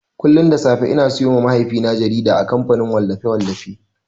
Kullun da safe ina siyowa mahaifina jarida a kamfanin wallafe-wallafi.